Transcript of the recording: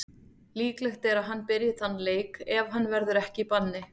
Líklegt er að hann byrji þann leik ef hann verður ekki í banni.